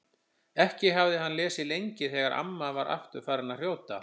Ekki hafði hann lesið lengi þegar amma var aftur farin að hrjóta.